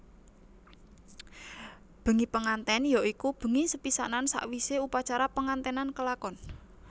Bengi pengantèn ya iku bengi sepisanan sawisé upacara penganténan kelakon